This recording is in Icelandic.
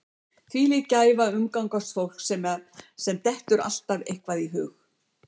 Þvílík gæfa að umgangast fólk sem dettur alltaf eitthvað í hug.